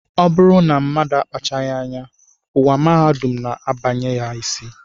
Ọ bụrụ na mmadụ akpachapụghị anya, ụwa mahadum na-abanye ha isi